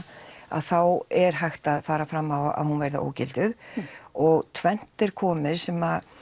að þá er hægt að fara fram á að hún verði ógilduð og tvennt er komið sem